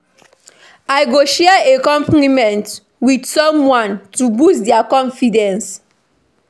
I go share a compliment with someone to boost dia confidence.